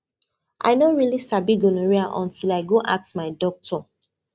i no really sabi gonorrhea until i go ask my doctor